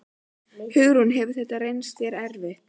Hugrún: Hefur þetta reynst þér erfitt?